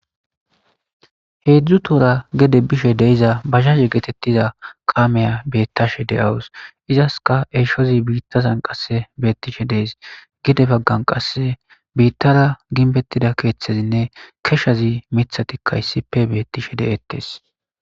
Heedzdzu toora gede bishe de7iza bajaje geetettiza kaamiya beettashe de7awus. izaska eshozi biittazan qasse beettishe dees. Gede baggan qasse biittara ginbettida keeththezinne keshshazi mithatikka issippe bettishe de7ettes